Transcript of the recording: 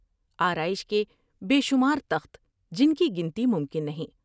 آرائش کے بے شمار تخت جن کی گنتی ممکن نہیں ۔